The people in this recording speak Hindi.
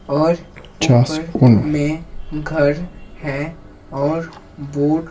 और ऊपर में घर हैऔरबोर्ड --